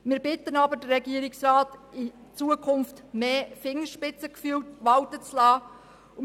Wir bitten den Regierungsrat jedoch, in Zukunft mehr Fingerspitzengefühl walten zu lassen.